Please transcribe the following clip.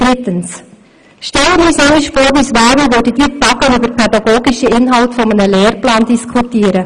Drittens: Stellen wir uns einmal vor, wir würden hier im Rat während Tagen über pädagogische Inhalte eines Lehrplans diskutieren.